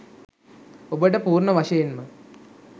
ඔබට පූර්ණ වශයෙන්ම